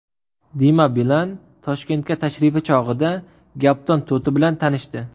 Dima Bilan Toshkentga tashrifi chog‘ida gapdon to‘ti bilan tanishdi .